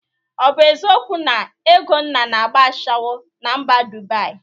Ọ bụ eziokwu na Egonna na-agba ashawo na mba Dubaị?